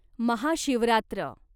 Mahashivratri